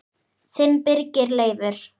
Þinn Birgir Leifur.